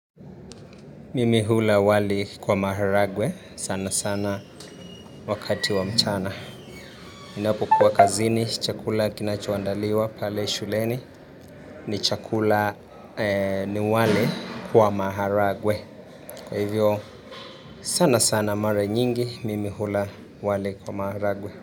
Mimi hula wali kwa maharagwe, sana sana wakati wa mchana. Ninapokuwa kazini, chakula kinachoandaliwa, pale shuleni, ni chakula ni wali kwa maharagwe. Kwa hivyo, sana sana mare nyingi, mimi hula wali kwa maharagwe.